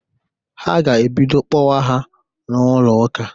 A ga-ebido kpọwa ha n'ụlọụka.